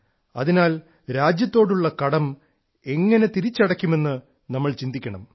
അതിനാൽ രാജ്യത്തോടുള്ള കടം എങ്ങനെ തിരിച്ചടയ്ക്കാം എന്ന് നമ്മൾ ചിന്തിക്കണം